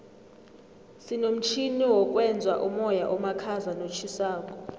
sinomtjhini wokwenza umoya omakhaza notjhisako